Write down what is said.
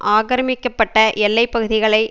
ஆக்கிரமிக்கப்பட்ட எல்லை பகுதிகளை